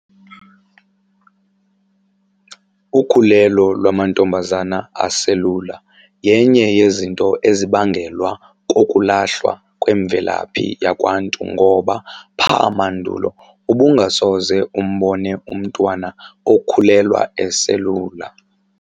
Ukhulelo lwamantombazana aselula yenye yezinto ezibangelwa kokulahlwa kwemvelaphi yakwaNtu ngoba pha mandulo ubungasoze umbone umntwana okhulelwa eselula.